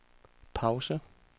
pause